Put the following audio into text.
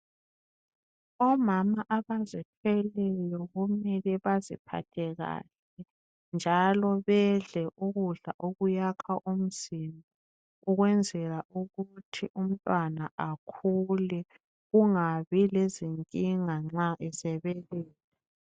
Omama abazithweleyo kumele baziphathe kahle njalo bedle ukudla okuyakha umzimba ukwenzela ukuthi umntwana akhule kungabi lezinkinga nxa esebeletha.